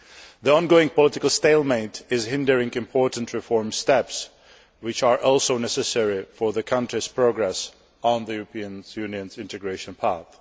The ongoing political stalemate is hindering important reform steps, which are also necessary for the country's progress on the European Union integration path.